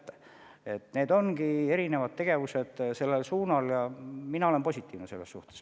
Sellel suunal ongi erinevad tegevused ja mina olen selles suhtes positiivne.